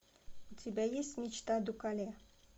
у тебя есть мечта дукале